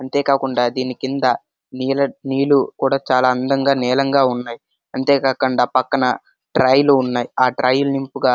అంతే కాకుండా దీని కింద నీళ్లు కూడా చాల అందంగా నీలంగా ఉన్నాయ్ అంతే కాకుండా పక్కన ట్రైలు ఉన్నాయ్ ఆ ట్రైలు నిపుగా--